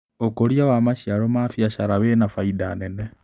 ũkũria wa maciaro ma biacara wĩna bainda nene.